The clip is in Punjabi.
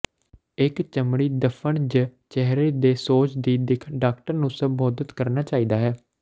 ਇੱਕ ਚਮੜੀ ਧੱਫੜ ਜ ਚਿਹਰੇ ਦੇ ਸੋਜ ਦੀ ਦਿੱਖ ਡਾਕਟਰ ਨੂੰ ਸੰਬੋਧਨ ਕਰਨਾ ਚਾਹੀਦਾ ਹੈ